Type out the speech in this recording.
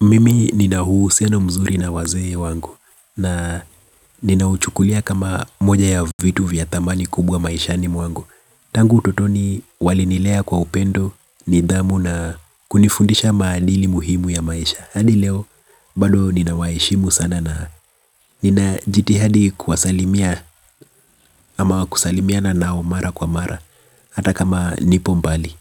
Mimi nina uhusiano mzuri na wazee wangu. Na ninauchukulia kama moja ya vitu vya dhamani kubwa maishani mwangu. Tangu utotoni walinilea kwa upendo nidhamu na kunifundisha maadili muhimu ya maisha. Hadi leo bado ninawaheshimu sana na nina jitihadi kuwasalimia ama kusalimiana nao mara kwa mara. Hata kama nipo mbali